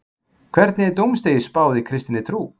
Hvernig er dómsdegi spáð í kristinni trú?